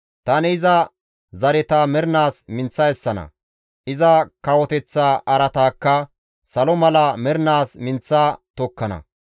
Tani iza zareta mernaas minththa essana; iza kawoteththa araataakka salo mala mernaas minththa tokkana.